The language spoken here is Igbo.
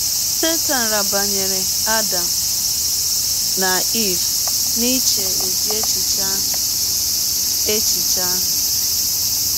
Setan rabanyere Adam na Eve n’iche ụdị echiche ahụ echiche ahụ.